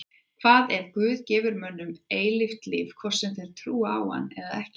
Hvað ef Guð gefur mönnum eilíft líf hvort sem þeir trúa á hann eða ekki?